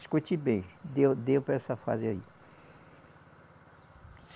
Escute bem, deu deu para essa fase aí.